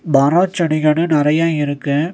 மரோ செடி கொடி நறைய இருக்கு.